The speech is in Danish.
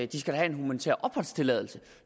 de skal have en humanitær opholdstilladelse